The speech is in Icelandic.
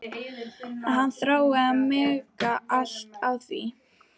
Að hann þrái að mega halda á því.